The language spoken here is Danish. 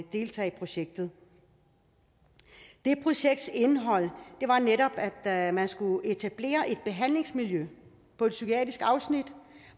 deltage i projektet det projekts indhold var netop at man skulle etablere et behandlingsmiljø på et psykiatrisk afsnit